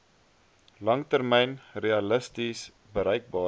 langtermyn realisties bereikbare